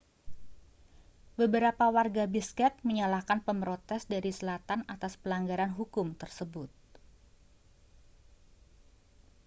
beberapa warga bishkek menyalahkan pemrotes dari selatan atas pelanggaran hukum tersebut